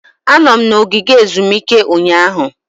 Anọ m na ogige ezumike ụnyaahụ.